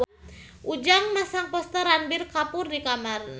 Ujang masang poster Ranbir Kapoor di kamarna